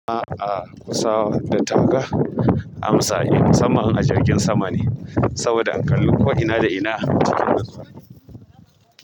A'a kusa da taka amsa. Musanman in a jirgin sama ne saboda in kali ko ina da ina cikin natsuwa.